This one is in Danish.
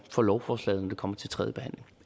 for lovforslaget når det kommer til tredjebehandlingen